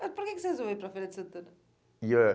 Mas por que que você resolveu ir para Feira de Santana? E é